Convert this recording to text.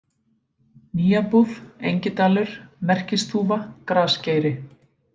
Nýjabúð, Engidalur, Merkisþúfa, Grasgeiri